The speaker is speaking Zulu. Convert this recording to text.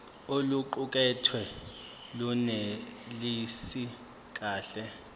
oluqukethwe lunelisi kahle